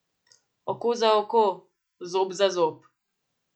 Oko za oko, zob za zob.